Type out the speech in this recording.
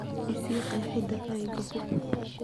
I sii qeexida ereyga hub